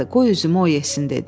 Qoy üzümü o yesin dedi.